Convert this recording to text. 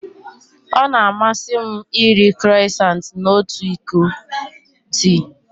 Ọ na-amasị m iri Crọisantị na otu iko tii.